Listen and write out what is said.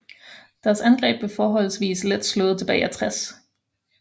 Deres angreb blev forholdsvis let slået tilbage af 60